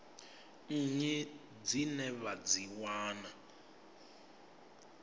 nnyi dzine vha dzi wana